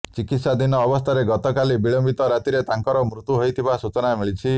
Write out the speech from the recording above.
ଚିକିତ୍ସାଧୀନ ଅବସ୍ଥାରେ ଗତକାଲି ବିଳମ୍ବିତ ରାତିରେ ତାଙ୍କର ମୃତ୍ୟୁ ହୋଇଥିବା ସୂଚନା ମିଳିଛି